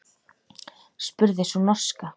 spurði sú norska.